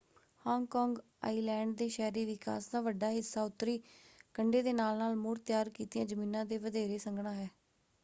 Hong Kong island ਦੇ ਸ਼ਹਿਰੀ ਵਿਕਾਸ ਦਾ ਵੱਡਾ ਹਿੱਸਾ ਉੱਤਰੀ ਕੰਢੇ ਦੇ ਨਾਲ-ਨਾਲ ਮੁੜ ਤਿਆਰ ਕੀਤੀਆਂ ਜ਼ਮੀਨਾਂ 'ਤੇ ਵਧੇਰੇ ਸੰਘਣਾ ਹੈ।